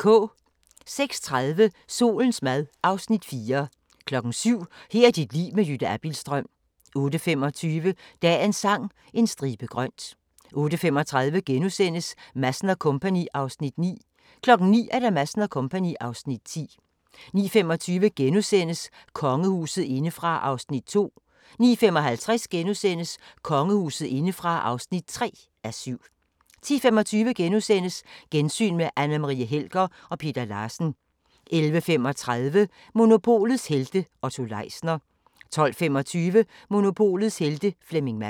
06:30: Solens mad (Afs. 4) 07:00: Her er dit liv med Jytte Abildstrøm 08:25: Dagens Sang: En stribe grønt 08:35: Madsen & Co. (Afs. 9)* 09:00: Madsen & Co. (Afs. 10) 09:25: Kongehuset indefra (2:7)* 09:55: Kongehuset indefra (3:7)* 10:25: Gensyn med Anne Marie Helger og Peter Larsen * 11:35: Monopolets helte - Otto Leisner 12:25: Monopolets Helte – Flemming Madsen